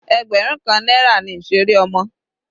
Ẹgbẹrun kan náírà ni ìseré ọmọ.